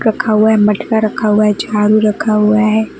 रखा हुआ है मटका रखा हुआ है झाड़ू रखा हुआ है।